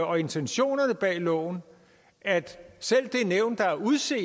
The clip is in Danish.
og intentionerne bag loven at selv det nævn der er udset